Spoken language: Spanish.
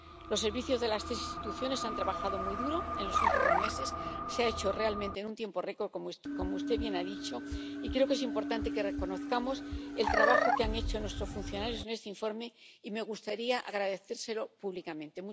Los servicios de las tres instituciones han trabajado muy duro en los últimos meses. Se ha hecho realmente en un tiempo récord, como usted bien ha dicho, y creo que es importante que reconozcamos el trabajo que han hecho nuestros funcionarios en este informe, y me gustaría agradecérselo públicamente.